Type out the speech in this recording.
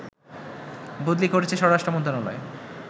বদলি করেছে স্বরাষ্ট্র মন্ত্রণালয়